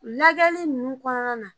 Lajɛli ninnu kɔnɔna na